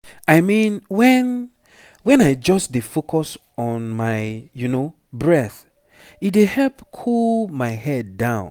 i mean when when i just dey focus on my you know breath e dey help cool my head down